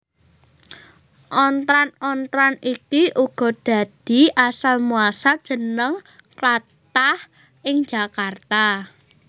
Ontran ontran iki uga dadi asal muasal jeneng tlatah ing Jakarta